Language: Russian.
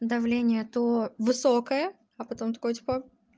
давление то высокое а потом такой типа